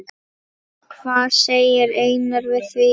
Hvað segir Einar við því?